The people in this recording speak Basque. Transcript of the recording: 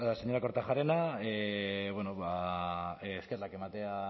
señora kortajarena eskerrak ematea